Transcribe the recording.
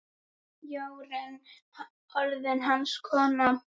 Jórunn orðin hans kona.